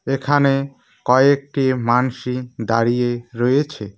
এখানে কয়েকটি মানস ই দাঁড়িয়ে রয়েছে।